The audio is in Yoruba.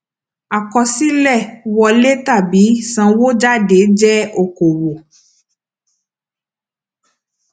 àkọsílẹ wọlé tàbí sanwó jáde jẹ okoòwò